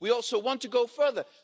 We also want to go further.